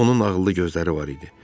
Onun ağıllı gözləri var idi.